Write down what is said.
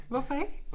Hvorfor ik